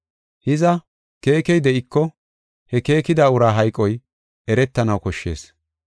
Hiza, keekey de7iko, he keekida uraa hayqoy eretanaw koshshees.